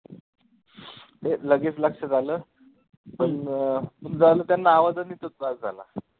ते लगेच लक्षात आलं पण अं त्यांना आवाजाने भास झाला.